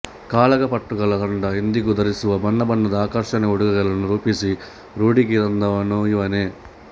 ಕಾಳಗ ಪಟುಗಳ ತಂಡ ಇಂದಿಗೂ ಧರಿಸುವ ಬಣ್ಣ ಬಣ್ಣದ ಆಕರ್ಷಕ ಉಡುಗೆಗಳನ್ನು ರೂಪಿಸಿ ರೂಢಿಗೆ ತಂದವನು ಇವನೇ